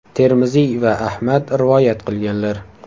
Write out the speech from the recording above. Termiziy va Ahmad rivoyat qilganlar.